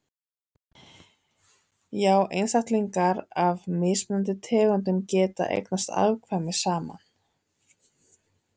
já einstaklingar af mismunandi tegundum geta eignast afkvæmi saman